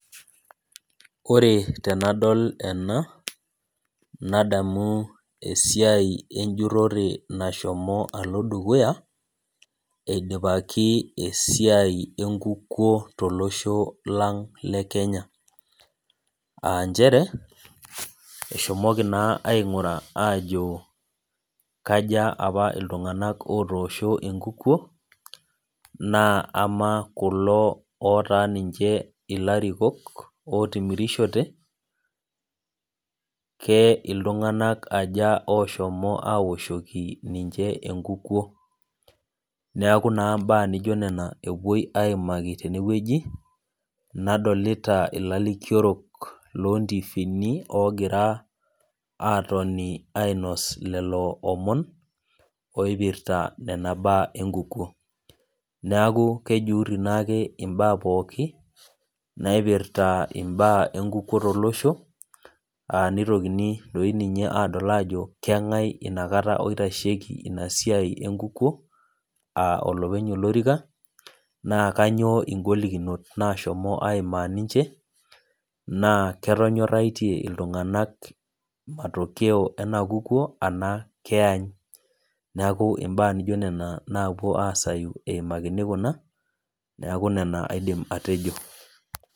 Ore tenadol ena, nadamu esiai ejurrore nashomo alo dukuya, eidipaki esiai enkukuo tolosho lang le Kenya. Ah njere, eshomoki naa aing'uraa ajo kaja apa iltung'anak otoosho enkukuo, naa amaa kulo otaa ninche ilarikok, otimirishote, ke iltung'anak aja oshomo awoshoki ninche enkukuo. Neeku naa imbaa nijo nena epuoi aimaki tenewueji, nadolita ilalikiorok lontiifini logira atoni ainos lelo omon, oipirta nena baa enkukuo. Neeku kejurri naake imbaa pookin, naipirta imbaa enkukuo tolosho, ah nitokini doi ninye adol ajo keng'ae inakata oitasheki inasiai enkukuo, ah olopeny olorika, naa kanyioo igolikinot nashomo aimaa ninche, naa ketonyorratie iltung'anak matokeo kukuo anaa keany. Neeku imbaa nijo nena napuo aasayu eimakini kuna, neeku nena aidim atejo.